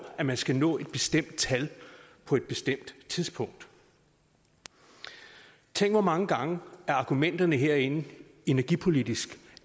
at man skal nå et bestemt tal på et bestemt tidspunkt tænk hvor mange gange argumenterne herinde energipolitisk